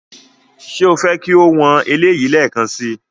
Ṣé o fẹ́ kí o wọn eléyìí lẹ́ẹ̀kan si?